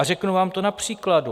A řeknu vám to na příkladu.